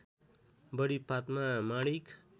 बढी पातमा माणिक